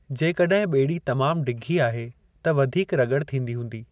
जेकॾहिं ॿेड़ी तमामु डिघी आहे, त वधीक रगड़ थींदी हूंदी।